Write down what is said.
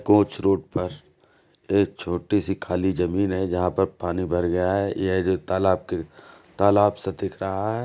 Coach road पर एक छोटी सी खाली जमीन है जहाँ पर पानी भर गया है। यह जो तालाब क तालाब सा दिख रहा है।